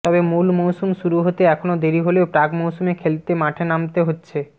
তবে মূল মৌসুম শুরু হতে এখনও দেরি হলেও প্রাক মৌসুমে খেলতে মাঠে নামতে হচ্ছে